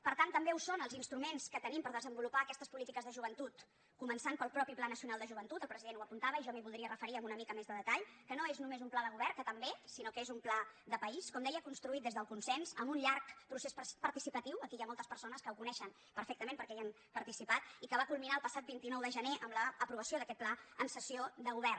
per tant també ho són els instruments que tenim per desenvolupar aquestes polítiques de joventut començant pel mateix pla nacional de joventut el president ho apuntava i jo m’hi voldria referir amb una mica més de detall que no és només un pla de govern que també sinó que és un pla de país com deia construït des del consens amb un llarg procés participatiu aquí hi ha moltes persones que ho coneixen perfectament perquè hi han participat i que va culminar el passat vint nou de gener amb l’aprovació d’aquest pla en sessió de govern